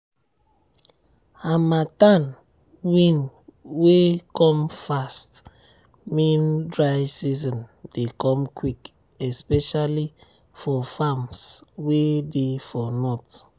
harmattan wind way come fast mean dry season dey come quick especially for farms way dey for north.